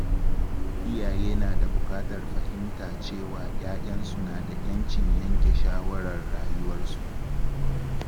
Iyaye na bukatar fahimta cewa ‘ya’yansu suna da ‘yancin yanke shawarar rayuwarsu.